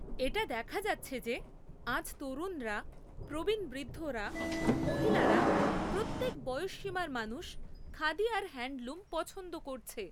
এটা দেখা যাচ্ছে যে আজ তরুণরা, প্রবীণ বৃদ্ধরা, মহিলারা প্রত্যেক বয়সসীমার মানুষ খাদি আর হ্যান্ডলুম পছন্দ করছে।